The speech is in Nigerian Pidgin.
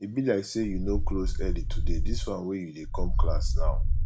e be like say you no close early today dis wan you dey come class now